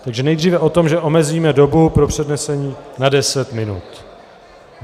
Takže nejdříve o tom, že omezíme dobu pro přednesení na deset minut.